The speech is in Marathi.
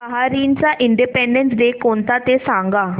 बहारीनचा इंडिपेंडेंस डे कोणता ते सांगा